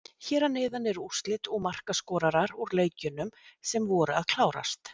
Hér að neðan eru úrslit og markaskorarar úr leikjunum sem voru að klárast.